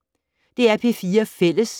DR P4 Fælles